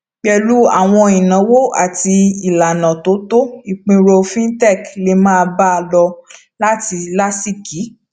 pèlú àwọn ìnáwó àti ìlànà tó tọ ìpínrọ fintech lè máa bá a lọ láti láásìkí